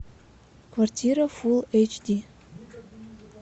квартира фулл эйч ди